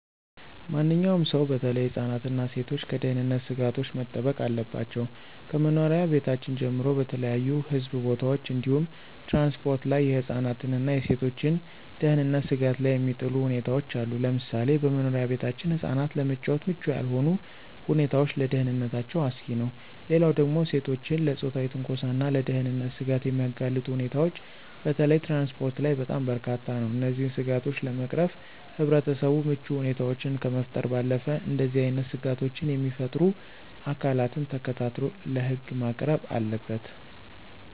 ማንኛውም ሰው በተለይ ህፃናት እና ሴቶች ከደህንነት ስጋቶች መጠበቅ አለባቸው። ከመኖሪያ ቤታችን ጀምሮ በተለያዩ ህዝብ ቦታዎች እንዲሁም ትራንስፖርት ላይ የህፃናትን እና የሴቶችን ደህንነት ስጋት ላይ የሚጥሉ ሁኔታዎች አሉ፤ ለምሳሌ በመኖሪያ ቤታችን ህፃናት ለመጫወት ምቹ ያልሆኑ ሁኔታዎች ለደህንነታቸው አስጊ ነው። ሌላው ደግሞ ሴቶችን ለፆታዊ ትንኮሳና ለደህንነት ስጋት የሚያጋልጡ ሁኔታዎች በተለይ ትራንስፖርት ላይ በጣም በርካታ ነው። እነዚህን ስጋቶች ለመቅረፍ ህብረተሰቡ ምቹ ሁኔታዎችን ከመፍጠር ባለፈ እንደዚህ አይነት ስጋቶችን የሚፈጥሩ አካላትን ተከታትሎ ለህግ ማቅረብ አለበት።